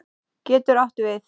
getur átt við